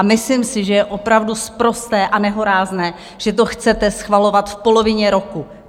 A myslím si, že je opravdu sprosté a nehorázné, že to chcete schvalovat v polovině roku.